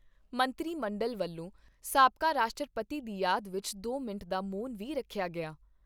ਮੰਤਰੀ ਮੰਡਲ ਵੱਲੋਂ ਸਾਬਕਾ ਰਾਸ਼ਟਰਪਤੀ ਦੀ ਯਾਦ ਵਿਚ ਦੋ ਮਿੰਟ ਦਾ ਮੌਨ ਵੀ ਰੱਖਿਆ ਗਿਆ।